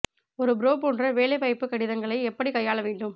ஒரு ப்ரோ போன்ற வேலை வாய்ப்பு கடிதங்களை எப்படி கையாள வேண்டும்